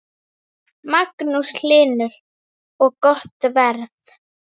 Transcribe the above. Magnús Hlynur: Og gott verð?